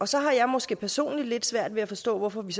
så har jeg måske personligt lidt svært ved at forstå hvorfor vi